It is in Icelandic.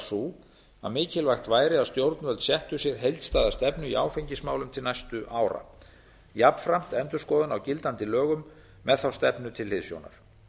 sú að mikilvægt væri að stjórnvöld settu sér heildstæða stefnu í áfengismálum til næstu ára jafnframt endurskoðun á gildandi lögum með þá stefnu til hliðsjónar